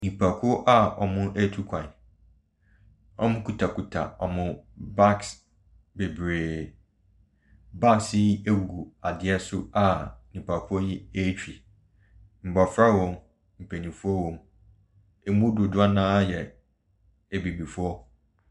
Nnipakuo a wɔretu kwan. Wɔkutakuta wɔn bags bebree. Bags yi gu adeɛ so a nnipa kuo retwi. Mmɔfra wom mpanimfoɔ wom. Wɔn mu dodoɔ no ara yɛ abibifoɔ.